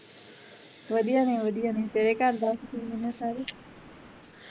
ਵਧੀਆ ਨੇ ਵਧੀਆ ਨੇ ਤੇਰੇ ਘਰ ਦੱਸ ਕਿਵੇਂ ਨੇ ਸਾਰੇ